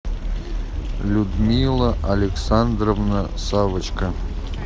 людмила александровна савочка